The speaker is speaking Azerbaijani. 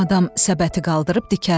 Adam səbəti qaldırıb dikəldi.